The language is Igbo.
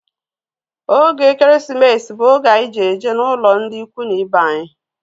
Oge ekeresimesi bú oge anyị ji eje n'ụlọ ndị ikwu na ibe anyi